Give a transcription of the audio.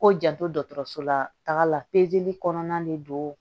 Ko janto dɔkɔtɔrɔsola taga la kɔnɔna de don